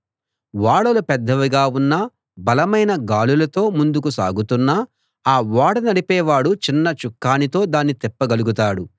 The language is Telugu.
ఓడలు పెద్దవిగా ఉన్నా బలమైన గాలులతో ముందుకు సాగుతున్నా ఆ ఓడ నడిపేవాడు చిన్న చుక్కానితో దాన్ని తిప్పగలుగుతాడు